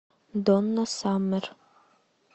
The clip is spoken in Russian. донна саммер